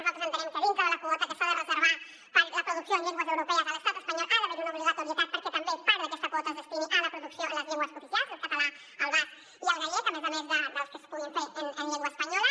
nosaltres entenem que dintre de la quota que s’ha de reservar per a la producció en llengües europees a l’estat espanyol ha d’haver hi una obligatorietat perquè també part d’aquesta quota es destini a la producció en les llengües cooficials el català el basc i el gallec a més a més de les que es puguin fer en llengua espanyola